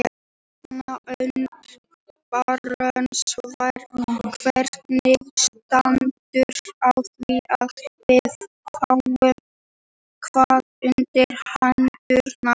Stefán Önundarson: Hvernig stendur á því að við fáum hár undir hendurnar?